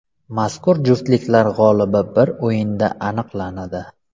Mazkur juftliklar g‘olibi bir o‘yinda aniqlanadi.